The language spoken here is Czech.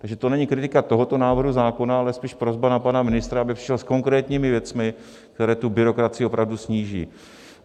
Takže to není kritika tohoto návrhu zákona, ale spíš prosba na pana ministra, aby přišel s konkrétními věcmi, které tu byrokracii opravdu sníží.